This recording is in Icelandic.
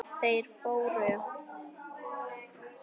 Þeir fóru.